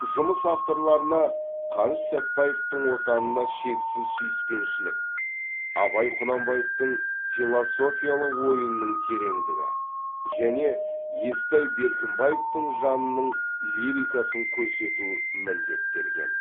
жұмыс авторларына қаныш сәтбаевтың отанына шексіз сүйіспеншілік абай құнанбаевтың философиялық ойының тереңдігі және естай беркімбаевтың жанының лирикасын көрсету міндеттелген